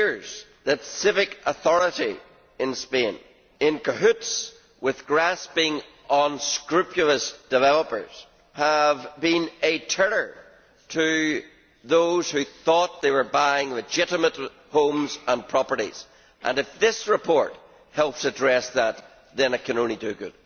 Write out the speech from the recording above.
It appears that civic authorities in Spain, in cahoots with grasping, unscrupulous developers, have been a terror to those who thought they were buying legitimate homes and properties, and, if this report helps address that, then it can only do good.